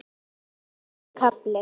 Tólfti kafli